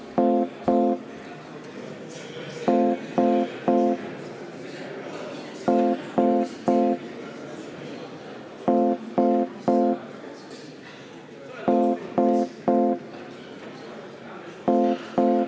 Austatud Riigikogu, panen hääletusele umbusalduse avaldamise justiitsminister Urmas Reinsalule.